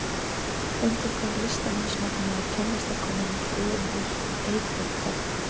Undir hvaða listamannsnafni er tónlistarkonan Guðrún Ýr Eyfjörð þekkt?